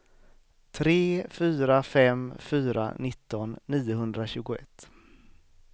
tre fyra fem fyra nitton niohundratjugoett